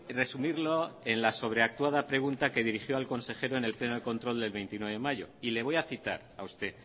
resumirlo en la sobreactuada pregunta que dirigió al consejero en el pleno de control del veintiuno de mayo y le voy a citar a usted